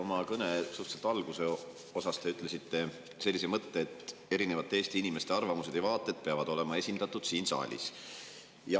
Oma kõne suhteliselt algusosas te ütlesite sellise mõtte, et erinevate Eesti inimeste arvamused ja vaated peavad olema esindatud siin saalis.